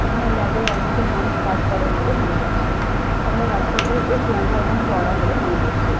এখানে ল্যাব -এ অনেকজন মানুষ কাজ করেন বলে মনে হচ্ছে। সামনে রাস্তাটিও বেশ লম্বা এবং চওড়া বলে মনে হচ্ছে।